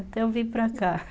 Até eu vir para cá.